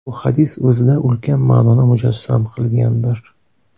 Bu hadis o‘zida ulkan ma’noni mujassam qilgandir.